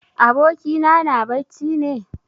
Abokina na bacci ne?